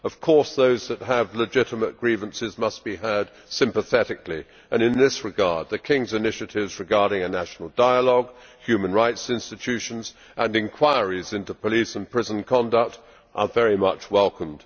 Of course those who have legitimate grievances must be heard sympathetically, and in this regard the King's initiatives regarding a national dialogue, human rights institutions and inquiries into police and prison conduct are very much welcome.